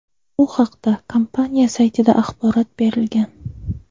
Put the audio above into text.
Bu haqda kompaniya saytida axborot berilgan .